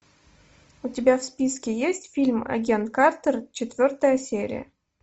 у тебя в списке есть фильм агент картер четвертая серия